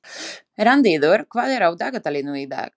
Randíður, hvað er á dagatalinu í dag?